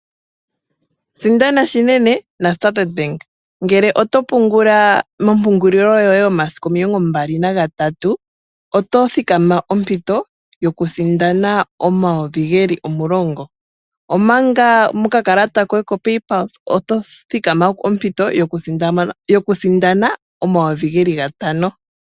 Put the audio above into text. Sindana shinene naStandard bank ngele oto pungula mopungulilo yoye momasiku omilongo mbali nagatatu, oto thikama ompito yokusindana omayovi ge li omulongo, omanga mokakalata koye kopay pulse oto thikama ompito yokusindana omayovi ge li gantano.